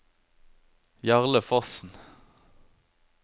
Jarle Fossen